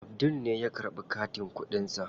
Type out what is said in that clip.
Abdul ne ya karɓi katin kuɗin sa.